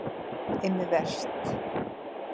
Immi Verst